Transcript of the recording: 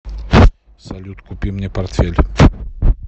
салют купи мне портфель